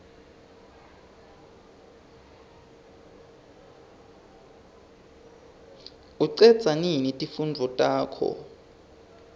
ucedza nini timfundvo takho